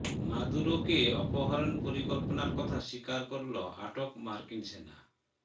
মাদুরোকে অপহরণ পরিকল্পনার কথা স্বীকার করল আটক মার্কিন সেনা